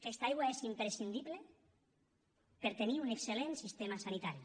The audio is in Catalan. aquesta aigua és imprescindible per tenir un excel·lent sistema sanitari